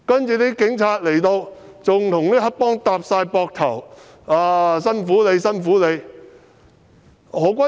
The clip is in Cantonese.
其後，警察到場更與黑幫拍膊頭，說辛苦他們了。